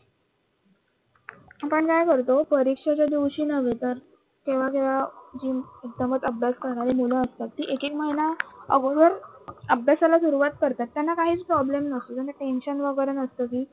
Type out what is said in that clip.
आपण काय करतो परीक्षेचे दिवशी नव्हे तर केव्हा केव्हा जी मुद्दामच अभ्यास करणारी मुलं असतात ती एक एक महिना अगोदर अभ्यासाला सुरुवात करतात त्यांना काहीच प्रॉब्लेम नसतो. त्यांना tensio वगैरे नसते कि,